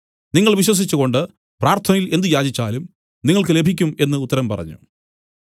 നിങ്ങൾ വിശ്വസിച്ചുകൊണ്ട് പ്രാർത്ഥനയിൽ എന്ത് യാചിച്ചാലും നിങ്ങൾക്ക് ലഭിക്കും എന്നു ഉത്തരം പറഞ്ഞു